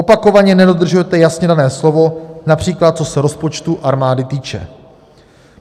Opakovaně nedodržujete jasně dané slovo, například co se rozpočtu armády týče.